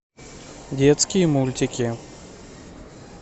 детские мультики